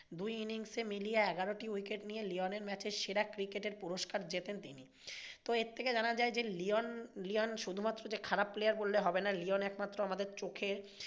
দুই innings মিলিয়ে এগারোটি wicket নিয়ে লিওনের match এর সেরা cricketer এর পুরস্কার জেতেন তিনি। তো এর থেকে জানা যাই লিওন লিওন শুধুমাত্র যে খারাপ player বললে হবে না, লিওন একমাত্র আমাদের চোখে